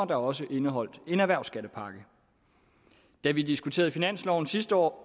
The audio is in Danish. der også indeholdt en erhvervsskattepakke da vi diskuterede finansloven sidste år